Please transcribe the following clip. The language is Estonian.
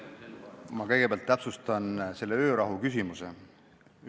Ma kõigepealt täpsustan seda öörahu küsimust.